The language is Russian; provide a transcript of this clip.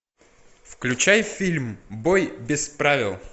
включай фильм бой без правил